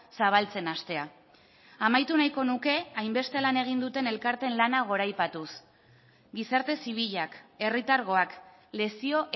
zabaltzen hastea amaitu nahiko nuke hainbeste lan egin duten elkarteen lana goraipatuz gizarte zibilak herritargoak lezio